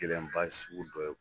gɛlɛnba sugu dɔw ye